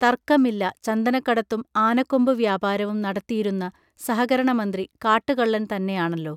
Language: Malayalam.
തർക്കമില്ല ചന്ദനക്കടത്തും ആനക്കൊമ്പ് വ്യാപാരവും നടത്തിയിരുന്ന സഹകരണമന്ത്രി കാട്ടുകള്ളൻ തന്നെയാണല്ലൊ